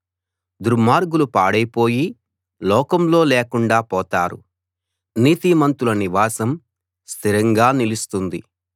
దుర్మార్గులు పాడైపోయి లోకంలో లేకుండా పోతారు నీతిమంతుల నివాసం స్థిరంగా నిలుస్తుంది